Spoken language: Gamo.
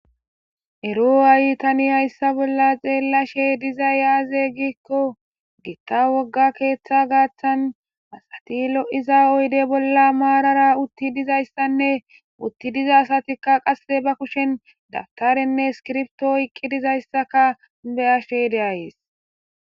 Ero ayi tani hayssa bolla xeellashe diza yaaze gikko giitta wogga keeththa gaaththan asati lo'iza oyde bolla maarara utti dizayssanne utti diza asatikka qasse ba kushen dabtarenne skirbtoo iqqi dizayssaka be ashe deayees